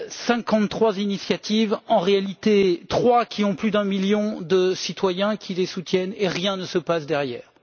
Cinquante trois initiatives en réalité, trois qui ont plus d'un million de citoyens qui les soutiennent, et rien ne se passe derrière.